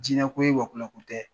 Jinɛ ko ye wɔkulɔ ko tɛ.